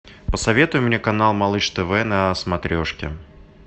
посоветуй мне канал малыш тв на смотрешке